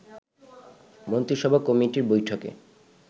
মন্ত্রিসভা কমিটির বৈঠকে